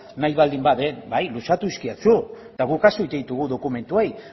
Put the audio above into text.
nahi baldin badut bai luzatu dizkidazu eta guk kasu egiten ditugu dokumentuei